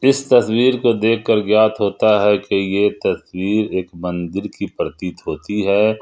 इस तस्वीर को देखकर ज्ञात होता है कि ये तस्वीर एक मंदिर की प्रतीत होती है।